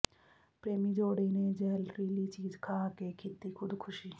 ਪ੍ਰੇਮੀ ਜੋੜੇ ਨੇ ਜਹਿਰਲੀ ਚੀਜ਼ ਖਾ ਕੇ ਕੀਤੀ ਖੁਦਕੁਸ਼ੀ